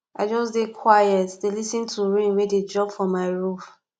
i just dey quiet dey lis ten to rain wey dey drop for my roof